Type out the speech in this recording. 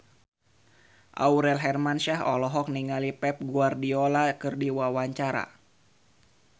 Aurel Hermansyah olohok ningali Pep Guardiola keur diwawancara